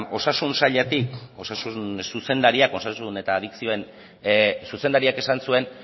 osasun sailetik osasun zuzendariak osasun eta adizioen zuzendariak esan zuen